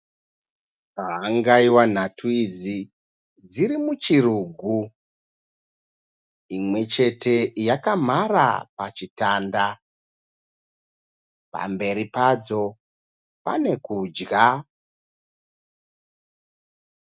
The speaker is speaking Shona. Hangaiwa nhatu idzi dziri muchirugu. Imwechete yakamhara pachitanda. Pamberi padzo pane kudya